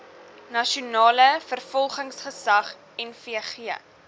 nasionale vervolgingsgesag nvg